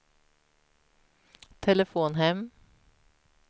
telefon hem